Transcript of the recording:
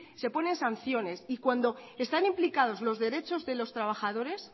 se ponen sanciones y cuando están implicados los derechos de los trabajadores